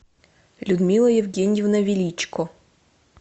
людмила евгеньевна величко